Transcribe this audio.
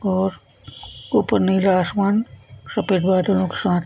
और ऊपर नीला आसमान सफेद बादलो के साथ।